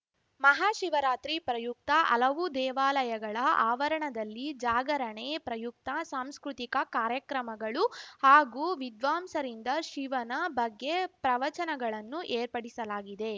ಮಹಾಶಿವರಾತ್ರಿ ಪ್ರಯುಕ್ತ ಹಲವು ದೇವಾಲಯಗಳ ಆವರಣದಲ್ಲಿ ಜಾಗರಣೆ ಪ್ರಯುಕ್ತ ಸಾಂಸ್ಕೃತಿಕ ಕಾರ್ಯಕ್ರಮಗಳು ಹಾಗೂ ವಿದ್ವಾಂಸರಿಂದ ಶಿವನ ಬಗ್ಗೆ ಪ್ರವಚನಗಳನ್ನು ಏರ್ಪಡಿಸಲಾಗಿದೆ